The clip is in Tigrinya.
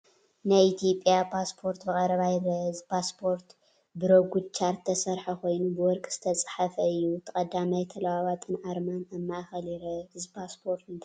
ናይ ኢትዮጵያ ፓስፖርት ብቐረባ ይርአ። እቲ ፓስፖርት ብሮጉድ ቻርት ዝተሰርሐ ኮይኑ ብወርቂ ዝተጻሕፈ እዩ። እቲ ቀዳማይ ተለዋዋጢን ኣርማን ኣብ ማእከል ይርአ። እዚ ፓስፖርት እንታይ ይውክል?